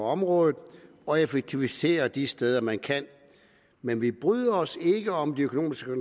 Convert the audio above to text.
området og effektiviserer de steder man kan men vi bryder os ikke om de økonomiske